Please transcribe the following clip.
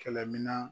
Kɛlɛminan